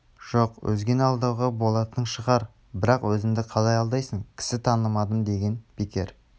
жоқ өзгені алдауға болатын шығар бірақ өзіңді қалай алдайсың кісі танымадым деген бекер